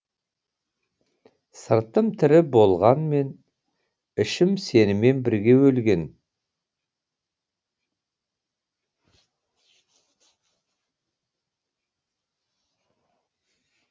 сыртым тірі болғанмен ішім сенімен бірге өлген